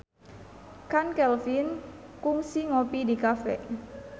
Chand Kelvin kungsi ngopi di cafe